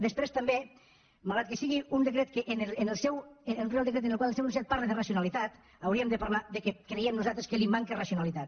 després també malgrat que sigui un reial decret en el qual el seu enunciat parla de racionalitat hauríem de parlar que creiem nosaltres que li manca racionalitat